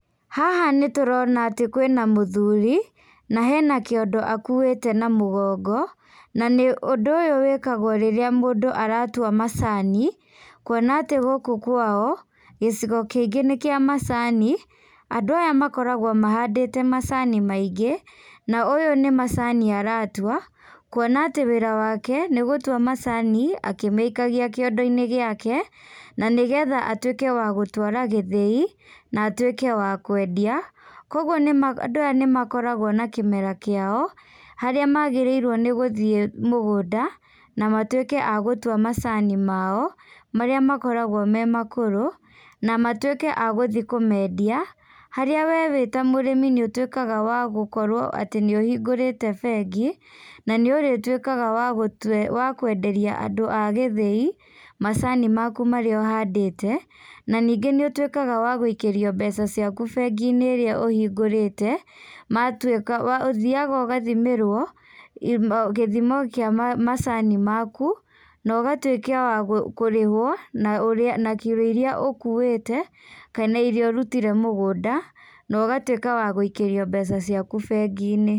Haha nĩtũrona atĩ kwĩna mũthuri na hena kĩondo akũĩte na mũgongo na nĩ ũndũ ũyũ wĩkagwo rĩrĩa mũndũ aratua macani, kuona atĩ gũkũ kwa o, gĩcigo kĩngĩ nĩ kĩa macani, andũ aya makoragwo mahandĩte macani maingĩ, na ũyũ nĩ macani aratua, kuona atĩ wĩra wake nĩ gũtua macani akĩmaikagia kĩondo-inĩ gĩaka na nĩgetha atuĩke wa gũtwara gĩthĩi na atuĩke wa kũendia, koguo nĩ andũ aya nĩmakoragwo na kĩmera kĩao harĩa magĩrĩirwonĩ gũthiĩ mũgũnda na matuĩke agũtua macani ma o marĩa makoragwo me makũrũ na matuĩke agũthiĩ kũmendia harĩa we wĩ ta mũrĩmi nĩũtuĩkaga wagũkorwo atĩ nĩũhingũrĩte bengi na nĩũrĩtuĩkaga wa kũenderia andũ agĩthĩi macani maku marĩa ũhandĩte na ningĩ nĩũtuĩkaga wagũikĩrio mbeca ciaku bengi-inĩ ĩrĩa ũhingũrĩte matũĩka, ũthĩyaga ũgathimĩrwo gĩthimo kĩa macani maku na ũgatuĩka wa kũrĩhwo na ũrĩa na kiro irĩa ũkuwĩte kana irĩa ũrutire mũgũnda na ũgatuĩka wa gũikĩrio mbeca ciaku bengi-inĩ.